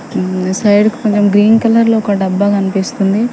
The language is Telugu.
మ్మ్ సైడ్ కి కొంచెం గ్రీన్ కలర్ లో ఒక డబ్బా కనిపిస్తుంది.